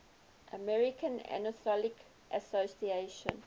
american psychoanalytic association